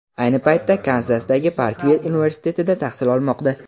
Ayni paytda Kanzasdagi Parkvill universitetida tahsil olmoqda.